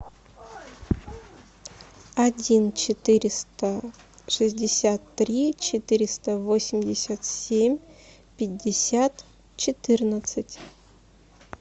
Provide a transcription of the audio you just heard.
один четыреста шестьдесят три четыреста восемьдесят семь пятьдесят четырнадцать